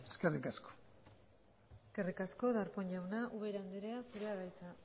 eskerrik asko eskerrik asko darpón jauna ubera andrea zurea da hitza